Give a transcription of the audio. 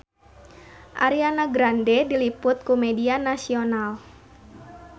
Ariana Grande diliput ku media nasional